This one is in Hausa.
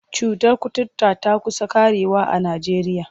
Cutar kuturta ta ƙusa ƙarewa a Najeriya.